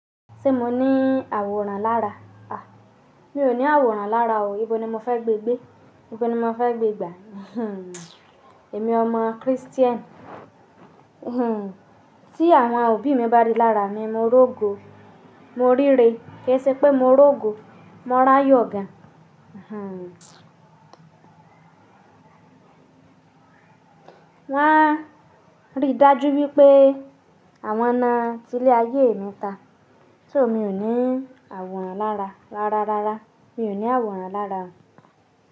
Ṣé mo ní àwòrán lára? A, mi ò ní àwòrán lára o. Ibo ni mo fẹ́ gbé gbé? Ibo ni mo fẹ́ gbé gbà? Emi ọmọ Christian. Hmm, tí àwọn òbí mi bá rí lára mi, mo rogo, mo ríre, kí ẹ ṣé pé mo rogo, morà áyọ gan. Hmmm. Won a rí dájú wípé àwọn náà ti lé ayé mi ta. Ṣé o mi ò ní àwòrán lára rá rá rá rá? Mi ò ní àwòrán lára o.